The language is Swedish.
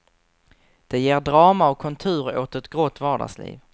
Det ger drama och kontur åt ett grått vardagsliv.